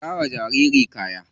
Saka wa jaririn kaya.